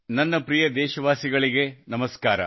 ನನ್ನ ಪ್ರೀತಿಯ ದೇಶವಾಸಿಗಳಿಗೆ ನಮಸ್ಕಾರ